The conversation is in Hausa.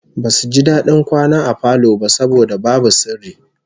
Basu ji dadin kwana a falo ba saboda babu sirri